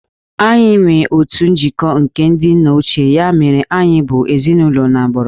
Anyị nwere otu njikọ nke ndị nna ochie, ya mere anyị bụ ezinụlọ n'agbụrụ